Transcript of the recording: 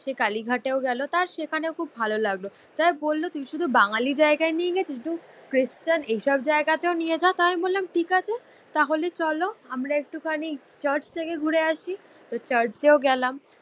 সে কালিঘাটেও গেলো, তার সেখানেও খুব ভালো লাগলো। যাইহোক শুধু বললো তুই শুধু বাঙালি জায়গায় নিয়ে গেছিস, ধুত খ্রিস্টান এইসব জায়গাতেও নিয়ে চল। তা আমি বললাম ঠিক আছে তাহলে চলো আমরা একটুখানি চার্চ থেকে ঘুরে আসি। তো চার্চেও গেলাম